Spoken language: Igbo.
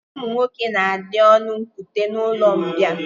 Ụmụ nwoke na-adị ọnụ nkute n'ụlọmbịa